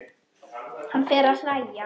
Hann fer að hlæja.